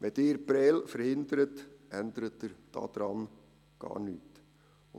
Wenn Sie Prêles verhindern, ändern Sie gar nichts daran.